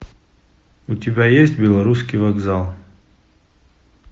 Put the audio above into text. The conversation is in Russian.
у тебя есть белорусский вокзал